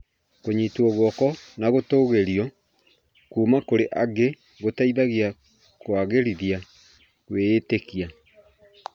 Kũnyitwo guoko na gũtũgĩrio kũma kũrĩ angĩ gũteithagia kũagĩrithia kwĩĩtĩkia.